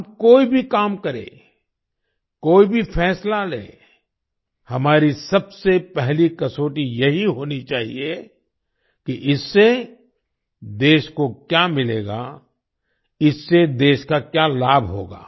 हम कोई भी काम करें कोई भी फैसला लें हमारी सबसे पहली कसौटी यही होनी चाहिए कि इससे देश को क्या मिलेगा इससे देश का क्या लाभ होगा